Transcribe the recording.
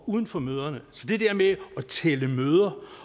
uden for møderne så det der med at tælle møder